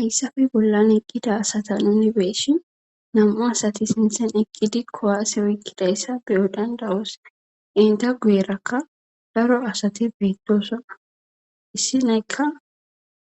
hayssafe bollan eqqida asata nuni beeshin nam7u asati sinthen eqqidi kowaase oykkidayssa biyo dandawos enta guyerakka daro asati beettosoma issineykka